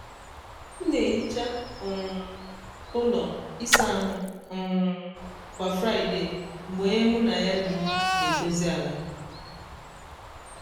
m na-ehicha um ụlọ ịsa ahụ um kwa friday mgbe onye mụ na ya bi na-edozi ala.